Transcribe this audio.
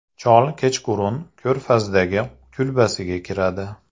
Chol kechqurun ko‘rfazdagi kulbasiga kiradi.